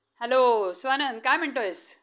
hello Swanand काय म्हणतोस?